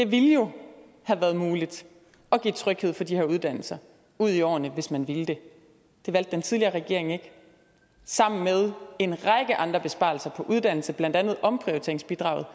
ville jo have været muligt at give tryghed for de her uddannelser ud i årene hvis man ville det det valgte den tidligere regering ikke sammen med en række andre besparelser på uddannelse blandt andet omprioriteringsbidraget